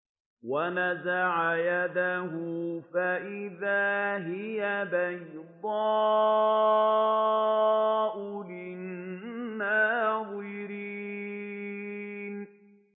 وَنَزَعَ يَدَهُ فَإِذَا هِيَ بَيْضَاءُ لِلنَّاظِرِينَ